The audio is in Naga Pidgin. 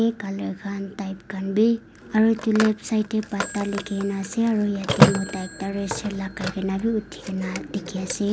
Eh colour khan type khan beh aro kelep side tey pata leke kena ase aro yate mota ekta red shirt lakai kena beh uthi kena beh dekhe ase.